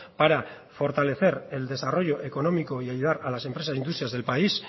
para fortalecer el desarrollo económico y ayudar a las empresas e industrias del país